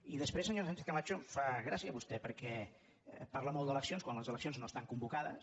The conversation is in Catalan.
i després senyora sánchez·camacho em fa gràcia vos·tè perquè parla molt d’eleccions quan les eleccions no estan convocades